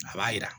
A b'a yira